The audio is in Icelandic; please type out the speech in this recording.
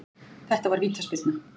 Þetta var vítaspyrna